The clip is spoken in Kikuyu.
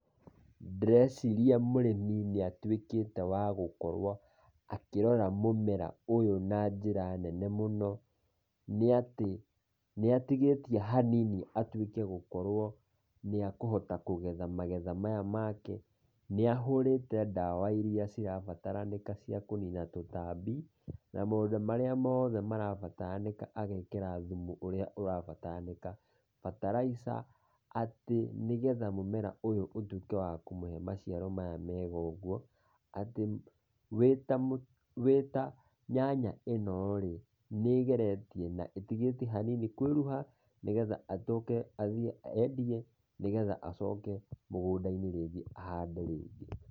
Ndĩreciria mũrĩmi nĩatuĩkĩte wa gũkorwo, akĩrora mũmera ũyũ na njĩra nene mũno. Nĩatĩ, nĩatigĩtie hanini atuĩke gũkorwo, nĩakũhota kũgetha magetha maya make, nĩahũrĩte ndawa iria cirabataranĩka cia kũnina tũtambi, na maũndũ marĩa moothe marabataranĩka agekĩra thumu ũrĩa ũrabataranĩka, fertilizer atĩ nĩgetha mũmera ũyũ ũtuĩke wa kũmũhe maciaro maya mega ũguo, atĩ wĩta wĩta nyanya ĩno-rĩ, nĩĩgeretie, na ĩtigĩtie hanini kũĩruha, nĩgetha acoke athiĩ endie, nĩgetha acoke mũgũnda-inĩ rĩngĩ ahande rĩngĩ.